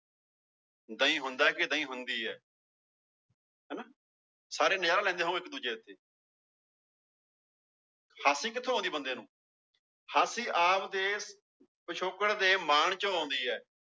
ਦਹੀ ਹੁੰਦਾ ਕਿ ਦਹੀਂ ਹੁੰਦੀ ਹੈ ਹਨਾ ਸਾਰੇ ਨਜ਼ਾਰਾ ਲੈਂਦੇ ਹੋ ਇੱਕ ਦੂਜੇ ਉੱਤੇ ਹਾਸੀ ਕਿੱਥੋਂ ਆਉਂਦੀ ਬੰਦੇ ਨੂੰ ਹਾਸੀ ਆਪਦੇ ਪਿੱਛੋਕੜ ਦੇ ਮਾਣ ਚੋਂ ਆਉਂਦੀ ਹੈ।